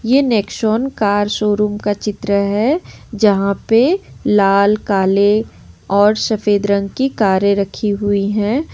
ये Nexon car showroom का चित्र है जहा पे लाल काले और सफेद रंग की कारे रखी हुई है।